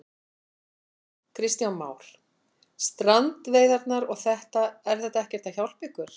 Kristján Már: Strandveiðarnar og þetta, er þetta ekkert að hjálpa ykkur?